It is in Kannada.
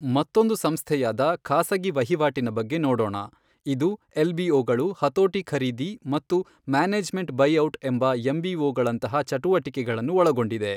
ಮತ್ತೊಂದು ಸಂಸ್ಥೆಯಾದ ಖಾಸಗಿ ವಹಿವಾಟಿನ ಬಗ್ಗೆ ನೋಡೋಣ ಇದು ಎಲ್ ಬಿಒ ಗಳು ಹತೋಟಿ ಖರೀದಿ ಮತ್ತು ಮ್ಯಾನೆಜ್ ಮೆಂಟ್ ಬೈಔಟ್ ಎಂಬ ಎಂಬಿಒಗಳಂತಹ ಚಟುವಟಿಕೆಗಳನ್ನು ಒಳಗೊಂಡಿದೆ.